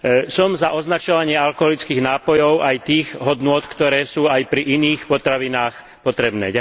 Som za označovanie alkoholických nápojov aj tých hodnôt, ktoré sú aj pri iných potravinách potrebné.